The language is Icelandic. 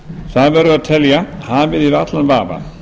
það verður að telja hafið yfir allan vafa